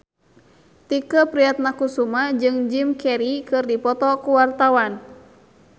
Tike Priatnakusuma jeung Jim Carey keur dipoto ku wartawan